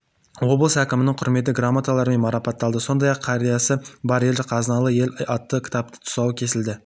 облыс әкімінің құрмет грамоталарымен марапатталды сондай-ақ қариясы бар ел қазыналы ел атты кітаптың тұсауы кесілді